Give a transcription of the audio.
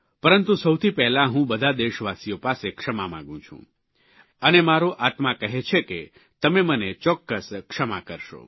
પરંતુ સૌથી પહેલાં હું બધા દેશવાસીઓ પાસે ક્ષમા માગું છું અને મારો આત્મા કહે છે કે તમે મને ચોક્કસ ક્ષમા કરશો